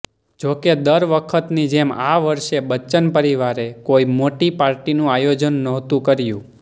જો કે દર વખતની જેમ આ વર્ષે બચ્ચન પરિવારે કોઈ મોટી પાર્ટીનું આયોજન નહોતું કર્યું